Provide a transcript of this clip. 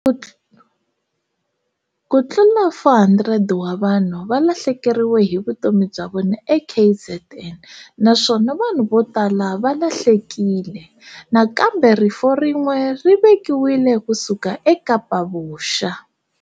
Ku tlula 400 wa vanhu va lahlekeriwe hi vutomi bya vona eKZN naswona vanhu votala va lahlekile. Nakambe rifu rin'we ri vikiwile kusuka eKapa Vuxa.